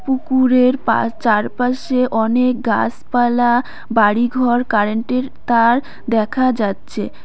পুকুরের পা-চারপাশে অনেক গাছপালা বাড়িঘর কারেন্টের তার দেখা যাচ্ছে।